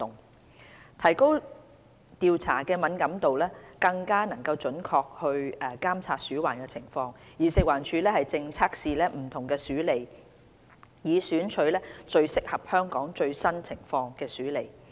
為提高調查的敏感度，更準確監察鼠患情況，食環署正測試不同鼠餌，以選取最適合香港最新情況的鼠餌。